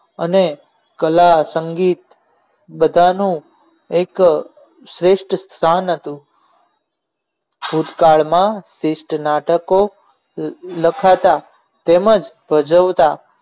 અને કલા સંગીત બધાનું એક શ્રેષ્ઠ સ્થાન હતું ભૂતકાળમાં શ્રેષ્ઠ નાટકો લખાતા તેમજ ભજવતા